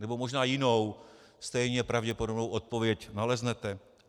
Nebo možná jinou, stejně pravděpodobnou odpověď naleznete.